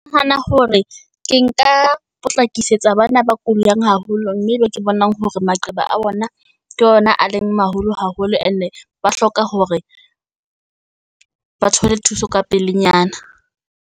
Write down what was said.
Ke nahana hore ke nka potlakisetsa bana ba kulang haholo, mme be ke bonang hore maqeba a bona ke ona a leng maholo haholo. Ene ba hloka hore ba thole thuso ka pelenyana.